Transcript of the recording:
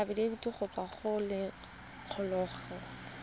afitafiti go tswa go lelokolegolo